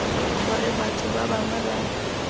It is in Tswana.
gore batho ba bangwe ba